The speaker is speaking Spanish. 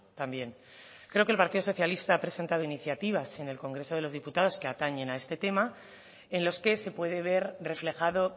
también creo que el partido socialista ha presentado iniciativas en el congreso de los diputados que atañen a este tema en los que se puede ver reflejado